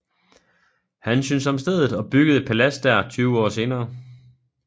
Han syntes om stedet og byggede et palads der tyve år senere